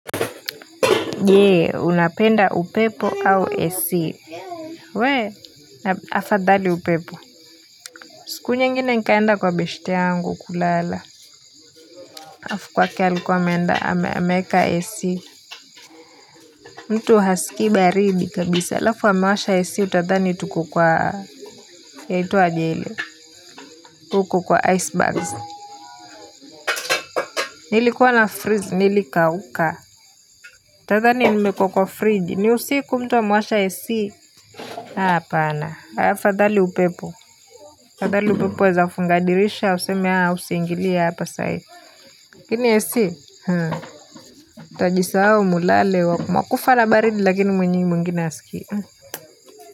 Je, unapenda upepo au AC? We, afadhali upepo. Siku nyingine nikaenda kwa beshte yangu kulala Alafu kwake alikuwa ameenda ameeka AC mtu hasikii baribi kabisa alafu amewasha AC utadhani tuko kwa yaitwaje ile? Huko kwa icebergs Nilikuwa nafreeze, nilikauka. Utadhani nimeekwa kwa friji, ni usiku mtu amewasha AC. Hapana. Afadhali upepo, afadhali upepo waweza kufunga dirisha useme usiingilie hapa saa hii. Lakini AC mtajisahau mlale mwakufa na baridi lakini mwenyini mwingine hasikii.